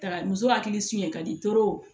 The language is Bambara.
Taga muso hakili sonya ka di